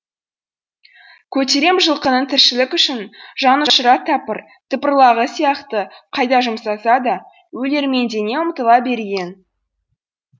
көтерем жылқының тіршілік үшін жанұшыра тыпырлағаны сияқты қайда жұмсаса да өлермендене ұмтыла берген